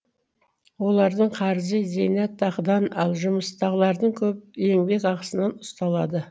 олардың қарызы зейнетақыдан ал жұмыстағылардың еңбекақысынан ұсталады